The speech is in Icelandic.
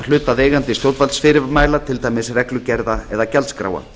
hlutaðeigandi stjórnvaldsfyrirmæla til dæmis reglugerða eða gjaldskráa